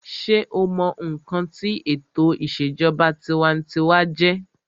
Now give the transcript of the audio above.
sé o mọ ǹkan tí ètò ìṣèjọba tinwatinwa jẹ́?